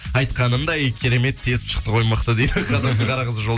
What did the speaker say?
айтқанындай керемет тесіп шықты ғой мықты дейді қазақтың қара қызы